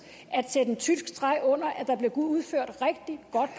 at sætte en tyk streg under at der blev udført rigtig